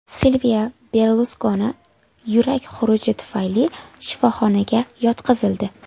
Silvio Berluskoni yurak xuruji tufayli shifoxonaga yotqizildi.